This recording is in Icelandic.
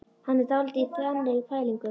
Hann er dálítið í þannig pælingum.